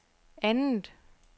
andet